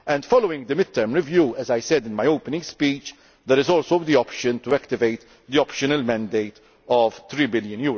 Following the mid term review, as I said in my opening speech, there is also the option to activate the optional mandate of EUR3 billion.